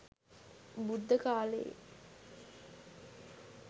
බුද්ධකාලයේ